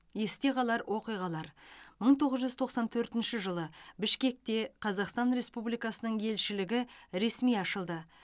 есте қалар оқиғалар мың тоғыз жүз тоқсан төртінші жылы бішкекте қазақстан республикасының елшілігі ресми ашылды